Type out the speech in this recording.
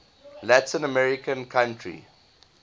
latin american country